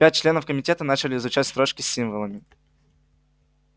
пять членов комитета начали изучать строчки с символами